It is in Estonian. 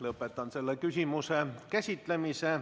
Lõpetan selle küsimuse käsitlemise.